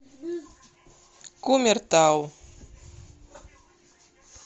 кумертау